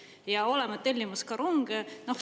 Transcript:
Ja olema tellimas ka ronge.